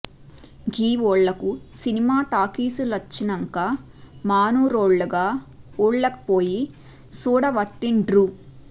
గీ ఊళ్ళకు సినిమా టాకీసులచ్చినంక మనూరోల్లు గా ఊళ్ళకు పొయ్యి సూడవట్టిండ్రు